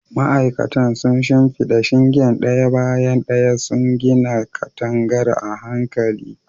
Ma'aikatan sun shimfida shingen ɗaya bayan ɗaya, suna gina katangar a hankali.